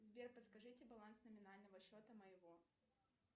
сбер подскажите баланс номинального счета моего